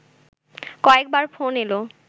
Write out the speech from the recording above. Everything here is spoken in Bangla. কয়েকবার ফোন এলো